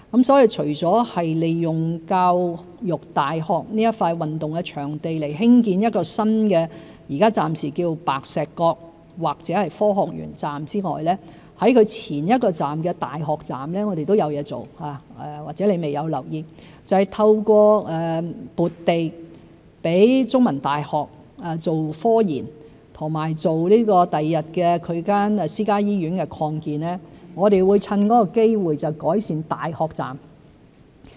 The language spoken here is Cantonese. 因此，除利用教育大學的一幅運動場地興建暫名為白石角或科學園站的新車站之外，在其前一個站大學站，我們都有工作要進行——或者陳議員未有留意——就是藉着撥地供中文大學做科研工作和用以擴建其未來的私家醫院，趁機改善大學站。